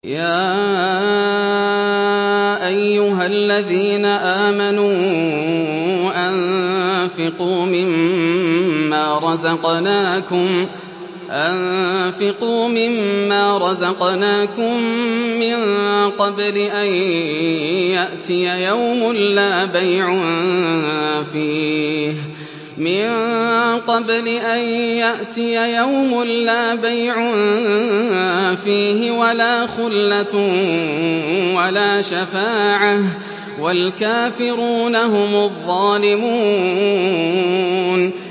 يَا أَيُّهَا الَّذِينَ آمَنُوا أَنفِقُوا مِمَّا رَزَقْنَاكُم مِّن قَبْلِ أَن يَأْتِيَ يَوْمٌ لَّا بَيْعٌ فِيهِ وَلَا خُلَّةٌ وَلَا شَفَاعَةٌ ۗ وَالْكَافِرُونَ هُمُ الظَّالِمُونَ